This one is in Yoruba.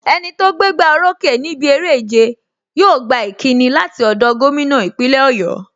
Enito gbé gbá o rókè níbi eré ìjẹ, yóò gba ìkíni láti ọ̀dọ̀ gómìnà ìpínlẹ̀ Oyo.